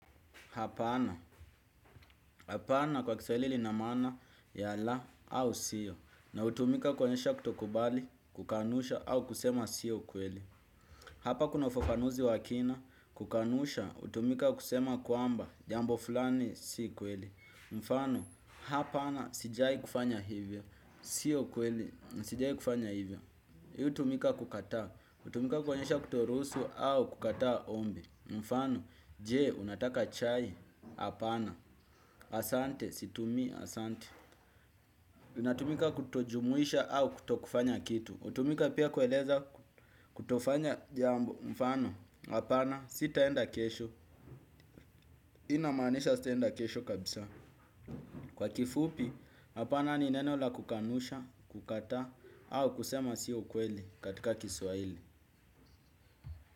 Hapana. Hapana kwa kiswaili lina maana ya la au siyo. Na utumika kuonyesha kutokubali, kukanusha au kusema siyo kweli. Hapa kuna ufafanuzi wa kina, kukanusha, utumika kusema kwamba, jambo fulani si kweli. Mfano, hapana sijai kufanya hivyo. Siyo kweli, sijai kufanya hivyo. Hii utumika kukataa. Utumika kuonyesha kutoruhusu au kukataa ombi. Mfano, jee, unataka chai, apana, asante, situmii, asante. Unatumika kutojumuisha au kutokufanya kitu. Utumika pia kueleza kutofanya jambo, mfano, apana, sitaenda kesho. Inamaanisha sitaenda kesho kabisa. Kwa kifupi, apana, ni neno la kukanusha, kukataa, au kusema si ukweli katika kiswaili.